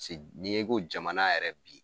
Se ne ko jamana yɛrɛ bi